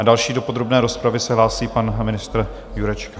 A další do podrobné rozpravy se hlásí pan ministr Jurečka.